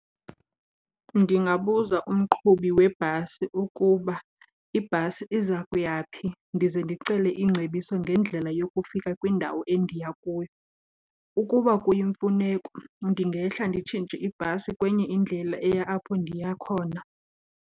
Ndingabuza umqhubi webhasi ukuba ibhasi iza kuya phi, ndize ndicele ingcebiso ngendlela yokufika kwindawo endiya kuyo. Ukuba kuyimfuneko ndingehla nditshintshe ibhasi kwenye indlela eya apho ndiya khona.